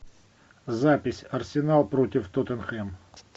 запись арсенал против тоттенхэм